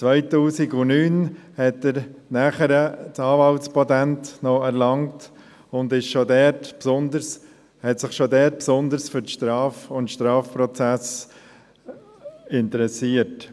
2009 erlangte er noch das Anwaltspatent und interessierte sich schon da besonders für die Strafprozesse.